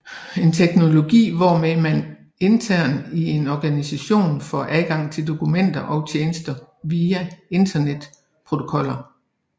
En teknologi hvormed man internt i en organisation får adgang til dokumenter og tjenester via internetprotokoller